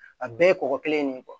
A bɛɛ ye kɔgɔ kelen in de ye